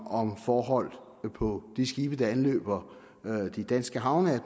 om forhold på de skibe der anløber de danske havne at